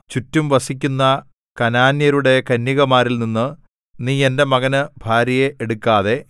ചുറ്റും വസിക്കുന്ന കനാന്യരുടെ കന്യകമാരിൽനിന്നു നീ എന്റെ മകന് ഭാര്യയെ എടുക്കാതെ